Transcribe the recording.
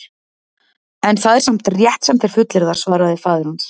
En það er samt rétt sem þeir fullyrða, svaraði faðir hans.